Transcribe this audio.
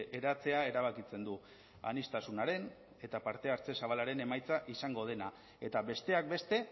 eratzea erabakitzen du aniztasunaren eta parte hartze zabalaren emaitza izango dena eta besteak beste